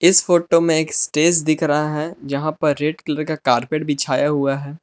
इस फोटो में एक स्टेज दिख रहा है यहां पर रेड कलर का कारपेट बिछाया हुआ है।